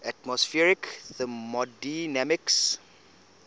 atmospheric thermodynamics